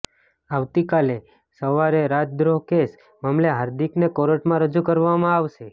આવતીકાલે સવારેરાજદ્રોહ કેસ મામલે હાર્દિકને કોર્ટમાં રજૂ કરવામાં આવશે